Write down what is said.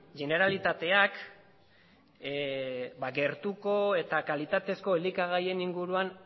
generalitateak gertuko eta kalitatezko elikagaien inguruan